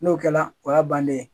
N'o kɛra o y'a bannen ye